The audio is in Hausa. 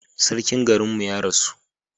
Sarkin garin mu ya rasu